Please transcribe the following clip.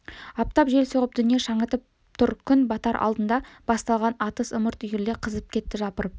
аптап жел соғып дүние шаңытып тұр күн батар алдында басталған атыс ымырт үйіріле қызып кетті жапырып